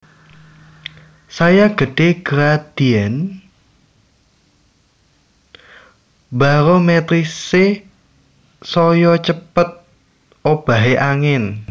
Saya gedhé gradién barometrisé saya cepet obahé angin